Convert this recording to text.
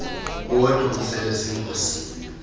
wodwa uzele zingozi